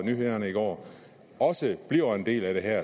nyhederne i går også bliver en del af det her er